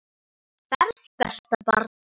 Góða ferð besta barn.